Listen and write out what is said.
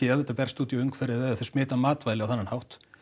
ef þetta berst út í umhverfið eða þeir smita matvæli á þennan hátt